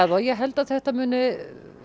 það ég held að þetta muni